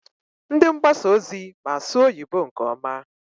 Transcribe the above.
Ndị mgbasa ozi ma asụ oyibo nke ọma.